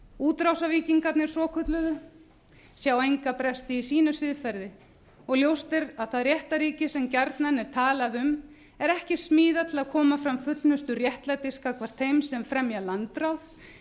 útrásarvíkingarnir svokölluðu sjá enga bresti í sínu siðferði og ljóst er að það réttarríki sem gjarnan er talað um er ekki smíðað til að koma fram fullnustu réttlætis gagnvart þeim sem fremja landráð